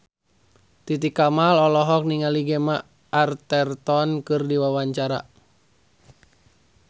Titi Kamal olohok ningali Gemma Arterton keur diwawancara